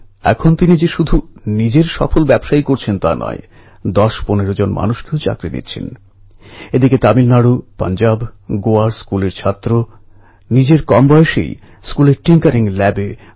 এরপর নগর কর্পোরেশনের মেয়র হয়েই বল্লভভাই প্যাটেল ব্রিটেনের মহারানীর নামাঙ্কিত ভিক্টোরিয়া গার্ডেনএ মহামান্য তিলকের স্মারক প্রতিষ্ঠার সিদ্ধান্ত নেন